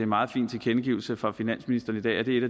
meget fin tilkendegivelse fra finansministeren i dag at det er